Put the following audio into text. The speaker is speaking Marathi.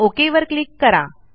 ओक वर क्लिक करा